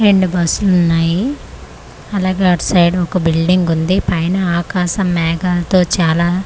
రెండు బస్సులున్నాయి అలాగే అట్సైడు ఒక బిల్డింగు ఉంది పైన ఆకాశం మేఘాలతో చాలా--